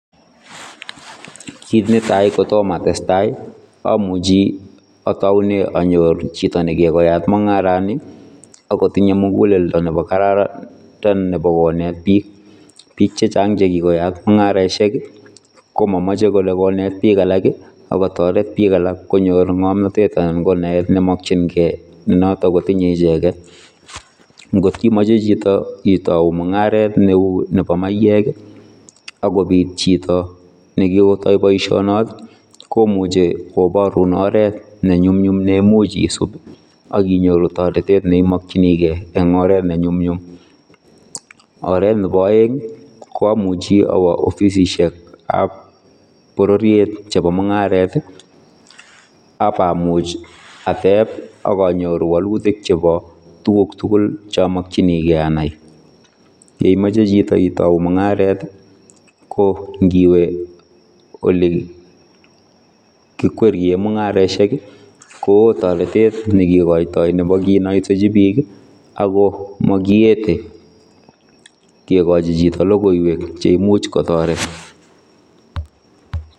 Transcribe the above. Kit ne tai kotomah atestai ii amuchi ataunee anyoor chitoo nekikoyaat mungaran nii ako tinye mugeleldo ne kararan neimuuch konet biik ,biik chechaang chekikoyaat mungaraisiek ii ko mamachei kole koneet biik alaak ii kotaret biik alaak konyoor ngamnatet anan ko naet ne makyinigei notoon ko tinye ichegeet, ngoot imache chitoo itauu mungaret ne uu nebo maiyeek ii akobiit chitoo nekikotai boision noon komuchei kobaruun oret ne nyumnyum neimuuch isuup taretet neimakyiigei en oret ne nyumnyum, oret nebo aeng ii ko amuchei awaah offissiek ab bororiet chebo mungaret ii ak bamuuch steep ii akanyoruu walutiik chebo tuguuk tugul che amakyinigei Ani ,yeimachei chitoo itauu mungaret ii ko ngiweeh olii kikwerie mungarosiek ii ko wooh taretet nekikoiatoi nebo kinaisejii biik ii ago makiyetee kegochii chitoo logoiyweek cheimuuch kotaret.